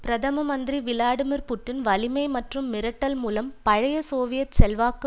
பிரதம மந்திரி Vladimir Putin வலிமை மற்றும் மிரட்டல் மூலம் பழைய சோவியத் செல்வாக்கு